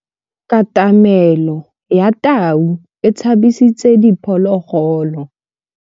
Katamêlô ya tau e tshabisitse diphôlôgôlô.